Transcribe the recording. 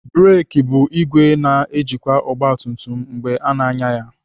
Breki bụ ìgwè na-ejikwa ogbatumtum mgbe ana anya ya.